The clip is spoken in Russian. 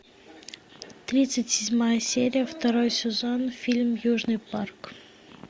тридцать седьмая серия второй сезон фильм южный парк